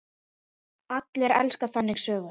Allir elska þannig sögur.